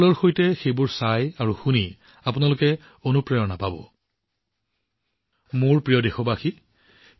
মোৰ মৰমৰ দেশবাসীসকল সেয়া বেনাৰসৰ বিষয়ে হওক বা চেহনাই হওক বা ওস্তাদ বিছমিল্লা খান জীৰ বিষয়ে হওক মোৰ মনোযোগ সেই দিশত আকৰ্ষিত হোৱাটো স্বাভাৱিক